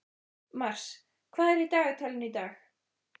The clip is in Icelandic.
Mars, hvað er í dagatalinu í dag?